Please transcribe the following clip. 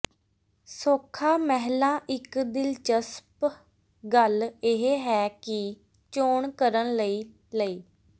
ਸੌਖਾ ਮਹਿਲਾ ਇਕ ਦਿਲਚਸਪ ਗੱਲ ਇਹ ਹੈ ਕਿ ਚੋਣ ਕਰਨ ਲਈ ਲਈ